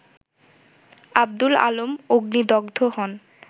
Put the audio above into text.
আব্দুল আলম অগ্নিদগ্ধ হন